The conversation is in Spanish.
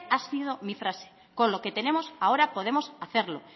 ha sido mi frase con lo que tenemos ahora podemos hacerlo